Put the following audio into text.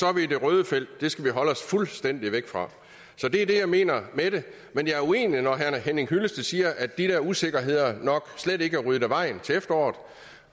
er vi i det røde felt og det skal vi holde os fuldstændig væk fra det er det jeg mener med det men jeg er uenig når herre henning hyllested siger at de der usikkerheder nok slet ikke er ryddet af vejen til efteråret